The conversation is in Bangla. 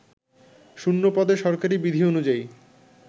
শূন্যপদে সরকারি বিধি অনুযায়ী